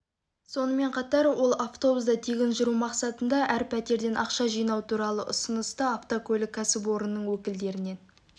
сонымен қатар ол автобуста тегін жүру мақсатында әр пәтерден ақша жинау туралы ұсынысты автокөлік кәсіпорнының өкілдерінен